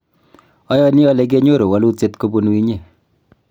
ayani ale kenyoru wolutiet kobunu inye